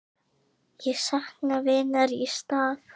Ég sakna vinar í stað.